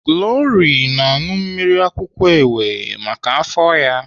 Glory na-aṅụ mmiri akwụkwọ ewe maka afọ ya.